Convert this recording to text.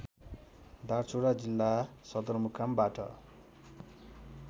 दार्चुला जिल्ला सदरमुकामबाट